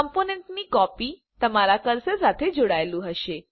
કમ્પોનન્ટની copy તમારા cursor સાથે જોડાયેલું હશે